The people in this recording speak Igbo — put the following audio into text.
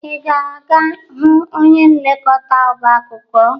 Ị ga-aga hụ onye nlekọta ọbaakwụkwọ?